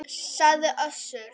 sagði Össur.